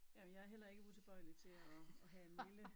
Jamen jeg er heller ikke utilbøjelig til at at have en lille